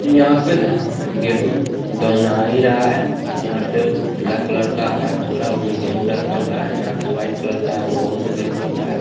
यहाँ पे धान गेंहू धुनाई रहा है यहाँ पे एगो पीला कलर का है बोरा उमें गेंहू रखा हुआ है यहाँ पर वाइट कलर का ओ में गेंहू रखा है।